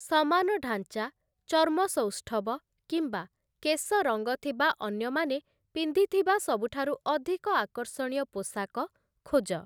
ସମାନ ଢାଞ୍ଚା, ଚର୍ମ ସୌଷ୍ଠବ କିମ୍ବା କେଶ ରଙ୍ଗ ଥିବା ଅନ୍ୟମାନେ ପିନ୍ଧିଥିବା ସବୁଠାରୁ ଅଧିକ ଆକର୍ଷଣୀୟ ପୋଷାକ ଖୋଜ ।